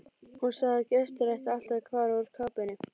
Hún sagði að gestir ættu alltaf að fara úr kápunni.